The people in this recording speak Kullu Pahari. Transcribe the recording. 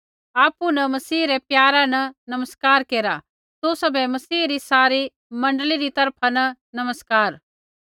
आपु न मसीह रै प्यारा न नमस्कार केरा तुसाबै मसीह री सारी मण्डली री तरफा न नमस्कार